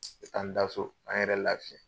N bɛ taa n da so ka n yɛrɛ lafiya.